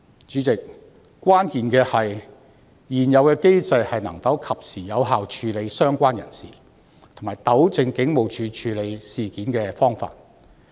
主席，關鍵的是，現有機制能否及時有效處理相關人士，以及糾正警務處處理事件的方法。